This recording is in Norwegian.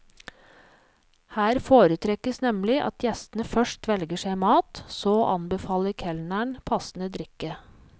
Her foretrekkes nemlig at gjestene først velger seg mat, så anbefaler kelneren passende drikke.